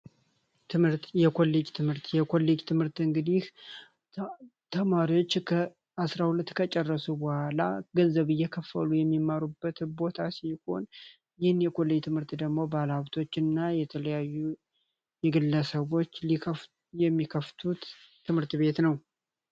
ትምህርት የኮሌጅ ትምህርት የኮሌጅ ትምህርት እንግዲህ ተማሪዎች 12ኛ ክፍል እንደጨረሱ ገንዘብ እየከፈሉ የሚማሩበት ቦታ ሲሆን ይህን ትምህርት ደግሞ ባለሀብቶች እና የተለያዩ ግለሰቦች ይከፍቱታል